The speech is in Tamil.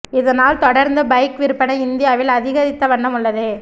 இதனால் தொடர்ந்து பைக் விற்பனை இந்தியாவில் அதிகரித்த வண்ணம் உள்ளது